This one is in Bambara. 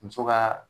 Muso ka